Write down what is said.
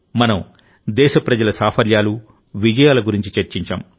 మనం దేశప్రజల సాఫల్యాలు విజయాల గురించి చర్చించాం